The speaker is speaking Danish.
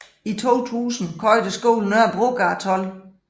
I 2000 købte skolen Nørrebrogade 12